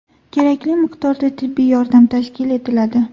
Kerakli miqdorda tibbiy yordam tashkil etiladi.